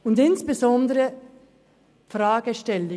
Ein Thema ist insbesondere auch diese Fragestellung: